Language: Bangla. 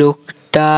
লোকটা